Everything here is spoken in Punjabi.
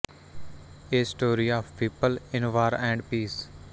A story of people in war and piece